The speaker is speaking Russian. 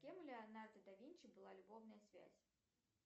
с кем у леонардо да винчи была любовная связь